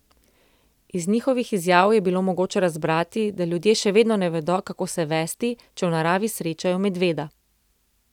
Iz njihovih izjav je bilo mogoče razbrati, da ljudje še vedno ne vedo, kako se vesti, če v naravi srečajo medveda.